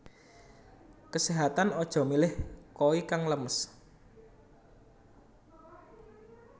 Keséhatan aja milih koi kang lemes